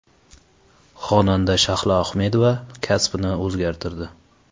Xonanda Shahlo Ahmedova kasbini o‘zgartirdi.